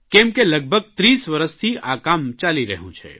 કેમ કે લગભગ 30 વરસથી આ કામ ચાલી રહ્યું છે